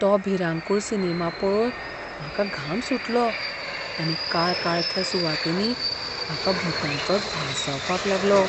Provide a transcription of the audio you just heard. तो भिरांकूळ सिनेमा पळोवन म्हाका घाम सुटलो आनी काळकाळख्या सुवातींनी म्हाका भुतांचोच भास जावंक लागलो.